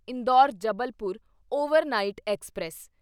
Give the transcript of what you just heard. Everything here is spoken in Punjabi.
Indore Jabalpur overnight express